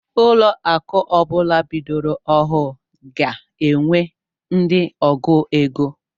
Ụlọ akụ ọbula bidoro ọhụụ ga-enwe ndị ọgụ égo.